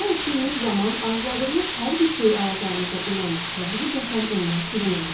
Dua etdiyiniz zaman arzuladığınız hər bir şeyi alacağınıza inanın və həqiqətən onlar sizin olacaq.